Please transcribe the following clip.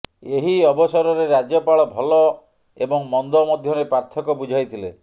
ଏହି ଅବସରରେ ରାଜ୍ୟପାଳ ଭଲ ଏବଂ ମନ୍ଦ ମଧ୍ୟରେ ପାର୍ଥକ୍ୟ ବୁଝାଇଥିଲେ